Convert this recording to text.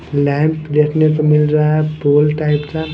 lamp देखने को मिल रहा है फुल टाइप का--